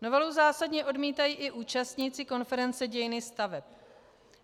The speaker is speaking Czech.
Novelu zásadně odmítají i účastníci konference Dějiny staveb.